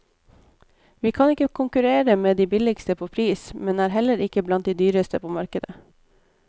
Vi kan ikke konkurrere med de billigste på pris, men er heller ikke blant de dyreste på markedet.